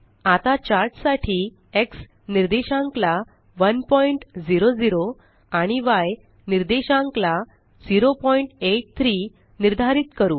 आता चार्ट साठी एक्स निर्देशांक ला 100 आणि य निर्देशांक ला 083 निर्धारित करू